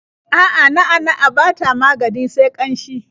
A'a, na'a-na'a ba ta magani sai ƙanshi.